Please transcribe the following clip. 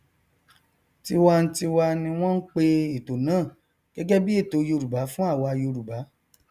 tiwantiwa ni wọn n pe ètò náà gẹgẹ bí ètò yorùbá fún àwa yorùbá